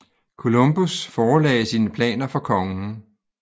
Columbus forelagde sine planer for kongen